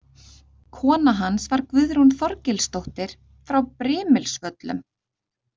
Kona hans var Guðrún Þorgilsdóttir frá Brimilsvöllum.